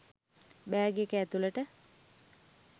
bag එක ඇතුලට